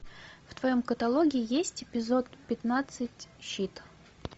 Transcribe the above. в твоем каталоге есть эпизод пятнадцать щит